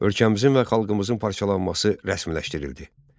Ölkəmizin və xalqımızın parçalanması rəsmiləşdirildi.